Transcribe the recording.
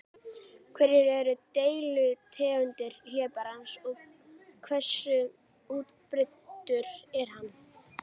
Hverjar eru deilitegundir hlébarðans og hversu útbreiddur er hann?